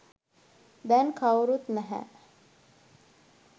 දැන් කවුරුත් නැහැ.